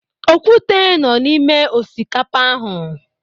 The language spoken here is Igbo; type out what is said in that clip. Okwute nọ n'ime osikapa ahu.